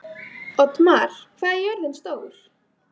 Oddmar, hvað er jörðin stór?